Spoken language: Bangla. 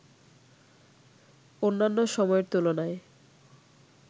অন্যান্য সময়ের তুলনায়